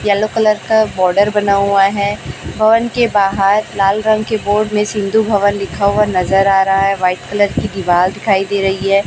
Yellow colour का border बना हुआ है भवन के बाहर लाल रंग की बोर्ड में सिंधु भवन लिखा हुआ नजर आ रहा है वाइट कलर की दीवाल दिखाई दे रही है।